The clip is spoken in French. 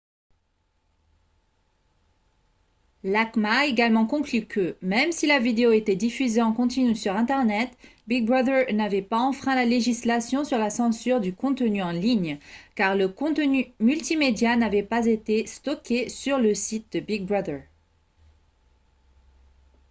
l'acma a également conclu que même si la vidéo était diffusée en continu sur internet big brother n'avait pas enfreint la législation sur la censure du contenu en ligne car le contenu multimédia n'avait pas été stocké sur le site de big brother